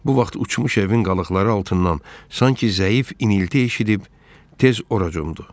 Bu vaxt uçmuş evin qalıqları altından sanki zəif inilti eşidib tez ora cumdu.